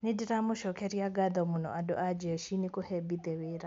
"Nĩndĩramacokeria ngatho mũno andũ a jeshi nĩ kũhe Mbithe wĩra".